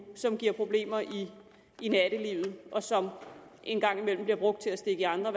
som giver problemer i nattelivet og som engang imellem bliver brugt til at stikke i andre